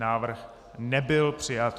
Návrh nebyl přijat.